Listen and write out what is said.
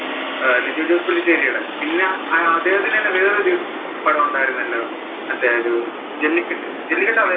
ലിജോ ജോസ് പെല്ലിശ്ശേരിടെ പിന്നെ അദ്ദേഹത്തിന്‍റെ തന്നെ വേറെ ഒരു പടം ഉണ്ടായിരുന്നുവല്ലോ, മറ്റേ ഒരു ജെല്ലിക്കെട്ട്, ജെല്ലിക്കെട്ട് അദ്ദേഹ